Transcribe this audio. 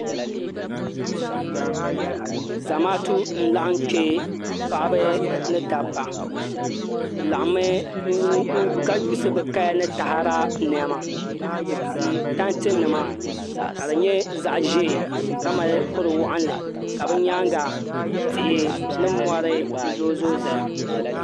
Zamaatu n laɣam kpɛ paɣaba ni dabba bi laɣammi ka yuusi bi kaya ni taada niɛma bi tili tanti nima ka di nyɛ zaɣ ʒiɛ ka mali kuri waɣanli ka di nyaanga tihi ni mori zooi zooi ʒɛya